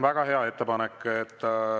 Väga hea ettepanek.